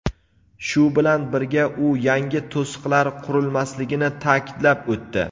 Shu bilan birga u yangi to‘siqlar qurilmasligini ta’kidlab o‘tdi.